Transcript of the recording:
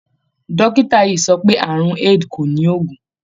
Dọ́kítà yìí sọ pé àrùn AID kò ní oògùn.